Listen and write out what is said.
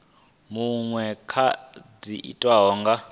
muṅwe kana dza tiwa nga